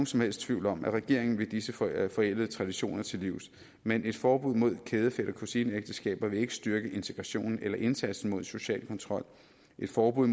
som helst tvivl om at regeringen vil disse forældede forældede traditioner til livs men et forbud mod kæde fætter kusine ægteskaber vil ikke styrke integrationen eller indsatsen mod social kontrol et forbud